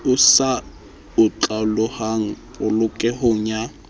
e sa otlolohang polokehong ya